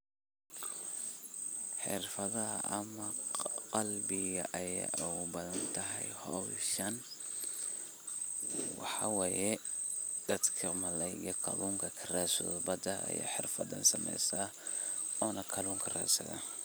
Xirfadahee ama qalabkee ayaad ugu baahan tahay hawshan waxaye dadka malalayda kalunka karadsadho bada ya xirfadan sameysta ona kalunka radsadha.